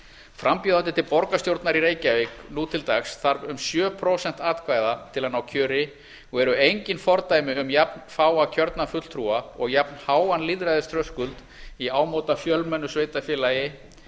frambjóðandi til borgarstjórnar í reykjavík nú til dags þarf um sjö prósent atkvæða til að ná kjöri og eru engin fordæmi um jafnfáa kjörna fulltrúa og jafnháan lýðræðisþröskuld í ámóta fjölmennu sveitarfélagi